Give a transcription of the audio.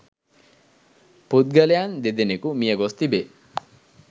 පුද්ගලයන් දෙදෙනෙකු මිය ගොස් තිබේ